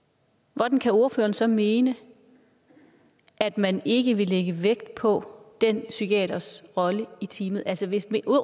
hvordan kan ordføreren så mene at man ikke vil lægge vægt på den psykiaters rolle i teamet altså hvis